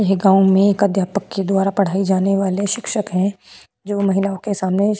यह गांव में एक अध्यापक के द्वारा पढ़ाई जाने वाले शिक्षक हैं जो महिलाओं के सामने।